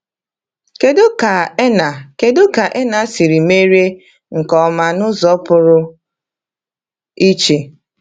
Kedu ka Erna Kedu ka Erna siri merie nke ọma n’ụzọ pụrụ iche?